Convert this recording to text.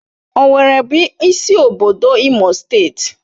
Owerri bụ isi obodo Imo steeti